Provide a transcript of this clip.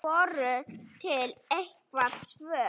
Voru til einhver svör?